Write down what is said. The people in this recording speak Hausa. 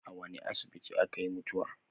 A wani asibiti akayi mutuwa?